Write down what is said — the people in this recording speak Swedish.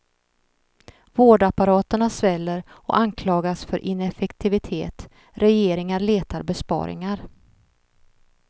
Vårdapparaterna sväller och anklagas för ineffektivitet, regeringar letar besparingar.